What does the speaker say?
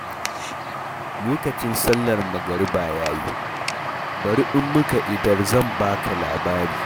Lokacin sallar magariba ya yi, bari in muka idar zan ba ka labari.